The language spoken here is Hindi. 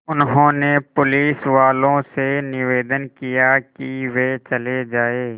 उन्होंने पुलिसवालों से निवेदन किया कि वे चले जाएँ